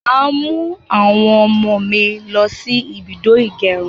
Màá mu àwọn ọmọ mí lo sí ibùdó ìgẹrun